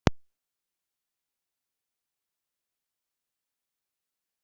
Sigrún segðu mér hvað er í gangi hérna?